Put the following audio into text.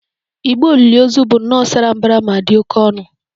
Igbo olili ozu bụ nnọọ sara mbara ma dị oké ọnụ